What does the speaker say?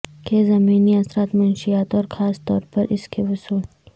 کے ضمنی اثرات منشیات اور خاص طور پر اس کے وصول